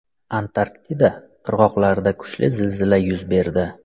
Antarktida qirg‘oqlarida kuchli zilzila yuz berdi.